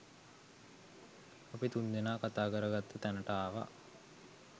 අපි තුන්දෙනා කතාකරගත්ත තැනට ආව